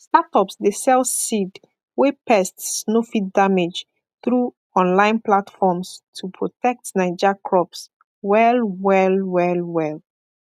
startups dey sell seed wey pests no fit damage through online platforms to protect naija crops well well well well